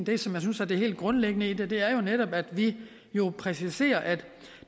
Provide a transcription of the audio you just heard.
det som jeg synes er det helt grundlæggende i det det er jo netop at vi præciserer at